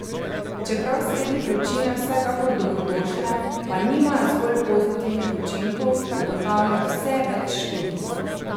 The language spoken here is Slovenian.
Čeprav sredi vročine vsekakor dobrodošle, pa nimajo zgolj pozitivnih učinkov, ugotavlja vse več študij.